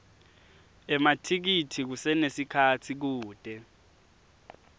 emathikithi kusenesikhatsi kute